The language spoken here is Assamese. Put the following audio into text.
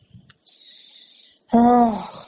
অহ্